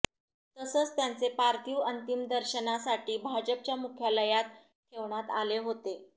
तसंच त्यांचे पार्थिव अंतिम दर्शनासाठी भाजपच्या मुख्यालयात ठेवण्यात आले होते